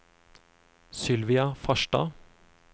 Sylvia Farstad